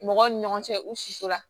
Mɔgɔw ni ɲɔgɔn cɛ u suso la